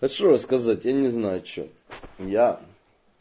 а что рассказать я не знаю что я